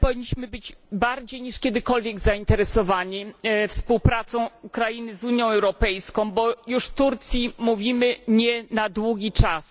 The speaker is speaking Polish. Myślę, że powinniśmy być bardziej niż kiedykolwiek zainteresowani współpracą Ukrainy z Unią Europejską, bo już Turcji mówimy nie na długi czas.